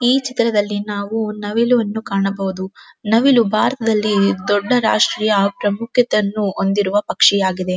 ಈ ಚಿತ್ರದಲ್ಲಿ ನಾವು ನವಿಲನ್ನು ಕಾಣಬಹುದು ನವಿಲು ಬಾರತದಲ್ಲಿ ದೊಡ್ಡ ರಾಷ್ಟ್ರೀಯ ಪ್ರಮುಖತನ್ನು ಹೊಂದಿರುವ ಪಕ್ಷಿ ಆಗಿದೆ.